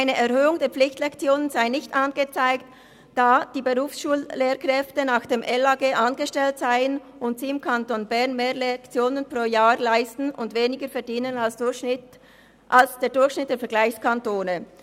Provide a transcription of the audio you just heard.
Eine Erhöhung der Pflichtlektionen sei nicht angezeigt, da die Berufsschullehrkräfte nach dem Gesetz über die Anstellung der Lehrkräfte (LAG) angestellt seien und sie im Kanton Bern mehr Lektionen pro Jahr leisten und weniger verdienen als im Durchschnitt der Vergleichskantone.